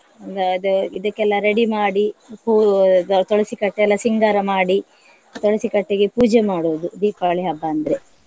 The~ ದ~ ಇದಕ್ಕೆಲ್ಲ ready ಮಾಡಿ ಹೂವು ದ~ ತುಳಸಿ ಕಟ್ಟೆ ಎಲ್ಲ ಸಿಂಗಾರ ಮಾಡಿ ತುಳಸಿ ಕಟ್ಟೆಗೆ ಪೂಜೆ ಮಾಡುವುದು ದೀಪಾವಳಿ ಹಬ್ಬ ಅಂದ್ರೆ.